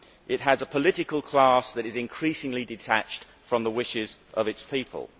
It has a political class that is increasingly detached from the wishes of its people.